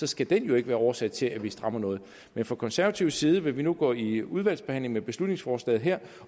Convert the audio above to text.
skal den ikke være årsag til at vi strammer noget men fra konservativ side vil vi nu gå i udvalgsbehandling med beslutningsforslaget her